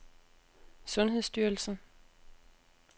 sundhedsstyrelsen